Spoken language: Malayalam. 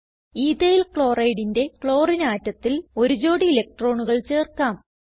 EthylChlorideന്റെ ക്ലോറിനെ ആറ്റത്തിൽ ഒരു ജോഡി ഇലക്ട്രോണുകൾ ചേർക്കാം